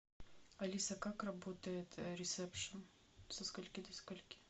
алиса как работает ресепшн со скольки до скольки